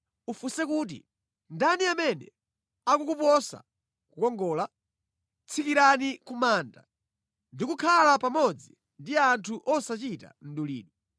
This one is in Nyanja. Ufunse kuti, ‘Ndani amene akukuposa kukongola? Tsikirani ku manda ndi kukhala pamodzi ndi anthu osachita mdulidwe.’